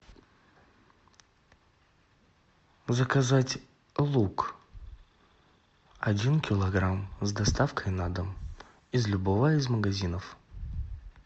заказать лук один килограмм с доставкой на дом из любого из магазинов